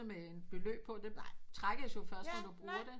Med et beløb på det trækkes jo først når du bruger det